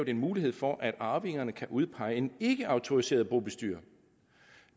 en mulighed for at arvingerne kan udpege en ikkeautoriseret bobestyrer